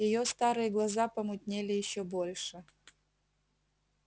её старые глаза помутнели ещё больше